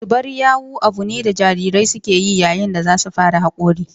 Zubar yawu abu ne da jarirai suke yi yayin da za su fara hakori